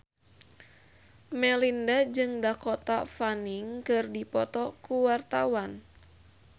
Melinda jeung Dakota Fanning keur dipoto ku wartawan